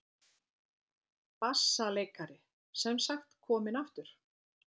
BASSALEIKARI: Sem sagt kominn aftur?